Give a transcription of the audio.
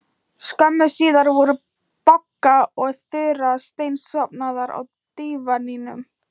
Skömmu síðar voru Bogga og Þura steinsofnaðar á dívaninum.